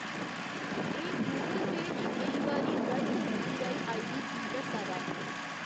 एह्‌‌ गूगल पेऽ च केईं बारी गलत यूपीआई आईडी की दस्सा दा ऐ?